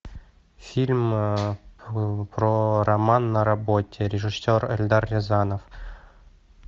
фильм про роман на работе режиссер эльдар рязанов